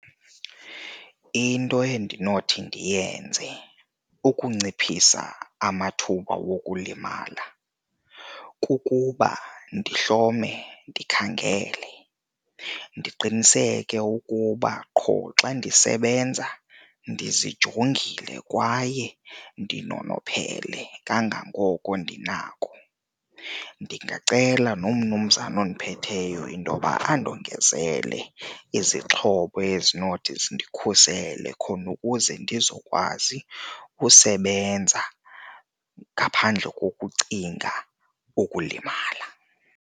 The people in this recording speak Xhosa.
Into endinothi ndiyenze ukunciphisa amathuba wokulimala kukuba ndihlome, ndikhangele, ndiqiniseke ukuba qho xa ndisebenza ndizijongile kwaye ndinonophele kangangoko ndinako. Ndingacela nomnumzana ondiphetheyo intoba andongezelele izixhobo ezinothi zindikhusele khona ukuze ndizokwazi usebenza ngaphandle kukucinga ukulimala.